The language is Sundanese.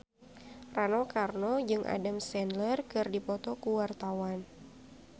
Rano Karno jeung Adam Sandler keur dipoto ku wartawan